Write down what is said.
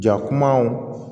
Ja kumaw